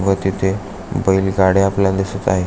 व तिथे बैलगाड्या आपल्याला दिसत आहे.